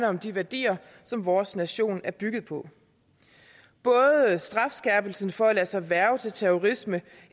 om de værdier som vores nation er bygget på både strafskærpelsen for at lade sig hverve til terrorisme